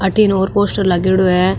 अठीने और पोस्टर लागेड़ो है।